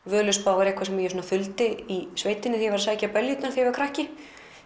Völuspá er eitthvað sem ég þuldi í sveitinni þegar ég var að sækja beljurnar þegar ég var krakki